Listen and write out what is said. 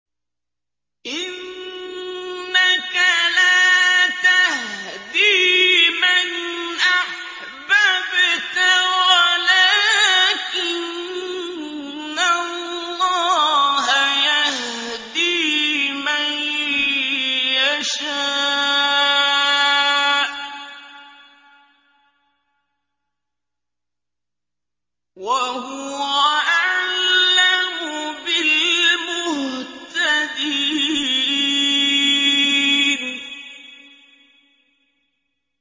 إِنَّكَ لَا تَهْدِي مَنْ أَحْبَبْتَ وَلَٰكِنَّ اللَّهَ يَهْدِي مَن يَشَاءُ ۚ وَهُوَ أَعْلَمُ بِالْمُهْتَدِينَ